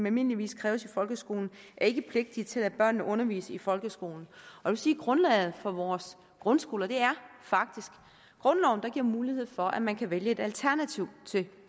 almindeligvis kræves i folkeskolen er ikke pligtige til at lade børnene undervise i folkeskolen grundlaget for vores grundskoler er faktisk grundloven der giver mulighed for at man kan vælge et alternativ til